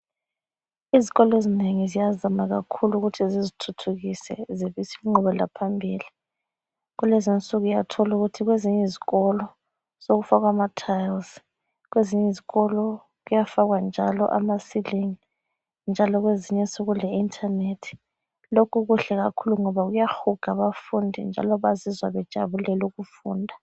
Izikolo ezinengi ziyazama kakhulu ukuthi zizithuthukise zibise ingqubelaphambili. Kulezinsuku uyathola ukuthi kwezinye izikolo sokufakwa amathayilizi, kwezinye izikolo kufakwa njalo amasilingi, njalo kwezinye sekule intanethi. Lokhu kuhle kakhulu ngoba kuyahuga abafundi njalo bazizwa bejabulela ukufunda.